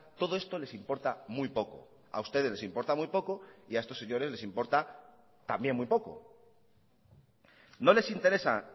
todo esto les importa muy poco a ustedes les importa muy poco y a estos señores les importa también muy poco no les interesa